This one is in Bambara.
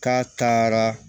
K'a taara